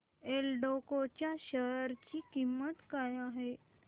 एल्डेको च्या शेअर ची किंमत काय आहे